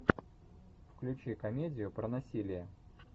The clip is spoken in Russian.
включи комедию про насилие